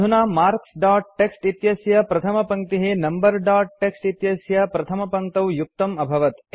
अधुना marks dot TXT इत्यस्य प्रथमपङ्क्तिः नम्बर दोत् टीएक्सटी इत्यस्य प्रथमपङ्क्तौ युक्तम् अभवत्